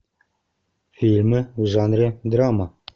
фильмы в жанре драма